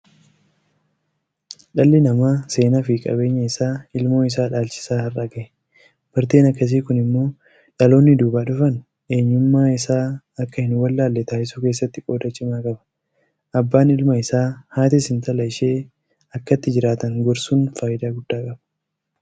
Dhalli namaa seenaafi qabeenya isaa ilmoo isaa dhaalchisaa har'a gahe. Barteen akkasii kun immoo dhaloonni duubaa dhufaan eenyummaa isaa akka hinwallaalle taasisuu keessatti qooda cimaa qaba. Abbaan ilma isaa, Haatis intala ishee akkatti jiraatan gorsuun faayidaa guddaa qaba.